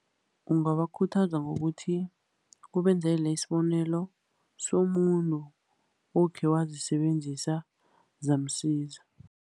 Ungabakhuthaza ngokuthi ubenzele isibonelo somuntu okhe wazisebenzisa, zamsiza.